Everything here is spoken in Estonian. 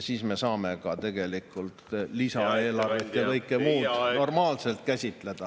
Siis me saame tegelikult eelarve ja kõike muud normaalselt käsitleda.